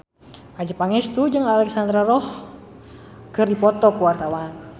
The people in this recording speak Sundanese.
Adjie Pangestu jeung Alexandra Roach keur dipoto ku wartawan